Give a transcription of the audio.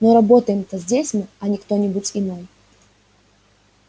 но работаем-то здесь мы а не кто-нибудь иной